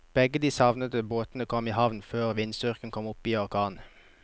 Begge de savnede båtene kom i havn før vindstyrken kom opp i orkan.